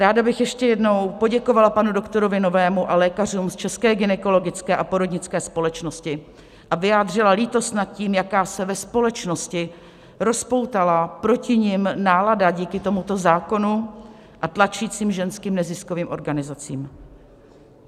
Ráda bych ještě jednou poděkovala panu doktorovi Novému a lékařům z České gynekologické a porodnické společnosti a vyjádřila lítost nad tím, jaká se ve společnosti rozpoutala proti nim nálada díky tomuto zákonu a tlačícím ženským neziskovým organizacím.